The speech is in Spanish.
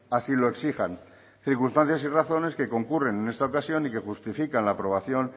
así lo exijan circunstancias y razones que concurren en esta ocasión y que justifican la aprobación